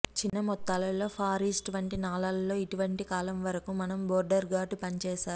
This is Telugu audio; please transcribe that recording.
చిన్న మొత్తాల లో ఫార్ ఈస్ట్ వంటి నాళాలు లో ఇటీవల కాలంలో వరకు మనం బోర్డర్ గార్డ్ పనిచేశారు